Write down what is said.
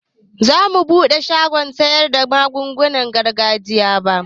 Zamu buɗe shagon siyarda magungunan gargajiya